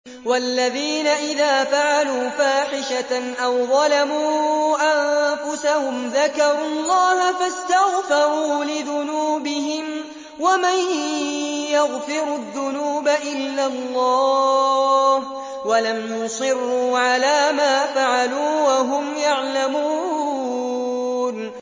وَالَّذِينَ إِذَا فَعَلُوا فَاحِشَةً أَوْ ظَلَمُوا أَنفُسَهُمْ ذَكَرُوا اللَّهَ فَاسْتَغْفَرُوا لِذُنُوبِهِمْ وَمَن يَغْفِرُ الذُّنُوبَ إِلَّا اللَّهُ وَلَمْ يُصِرُّوا عَلَىٰ مَا فَعَلُوا وَهُمْ يَعْلَمُونَ